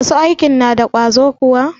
Masu aikin na da ƙwazo kuwa?